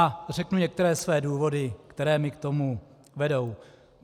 A řeknu některé své důvody, které mě k tomu vedou.